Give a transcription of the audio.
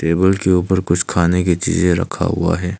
Table के ऊपर कुछ खाने की चीजें रखा हुआ है।